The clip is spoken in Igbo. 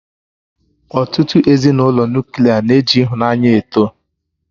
Ọtụtụ Ezinụlọ Nuklià na-eji ịhụnanya eto